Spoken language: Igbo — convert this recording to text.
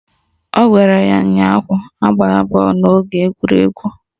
Ọ gwara ya ụnyaahụ "Agbala bọọlụ n'oge egwuregwu"!